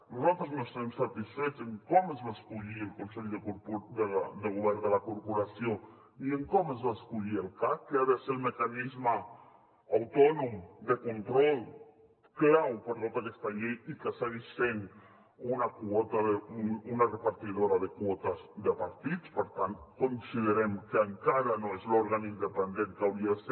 nosaltres no estem satisfets en com es va escollir el consell de govern de la corporació ni en com es va escollir el cac que ha de ser el mecanisme autònom de control clau per a tota aquesta llei i que segueix sent una repartidora de quotes de partits per tant considerem que encara no és l’òrgan independent que hauria de ser